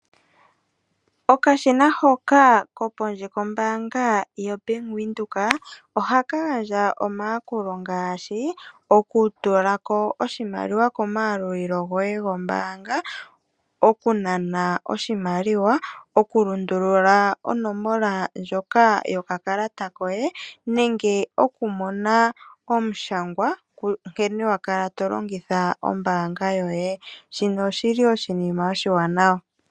Okashiana hoka ko pondje ko bank windhoek, ohaka gandja omayakulo ngaashi okutulako oshimaliwa komayalulili goye go mbaanga, okunana oshimaliwa , oku lundulula onomola ndjoka yokakalata koye ,nenge okumona omushangwa nkene wakala tolongitha ombaanga yoye. Shino oshili woo oshinima oshiwaanawa.